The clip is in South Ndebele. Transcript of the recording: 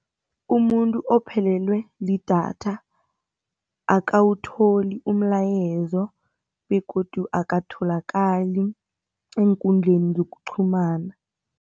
Umuntu ophelelwe lidatha akhawutholi umlayezo begodu akatholakali eenkundleni zokuqhumana.